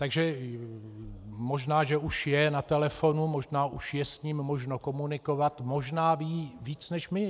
Takže možná že už je na telefonu, možná už je s ním možno komunikovat, možná ví víc než my.